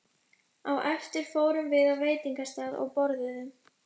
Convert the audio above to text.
Á eftir fórum við á veitingastað og borðuðum.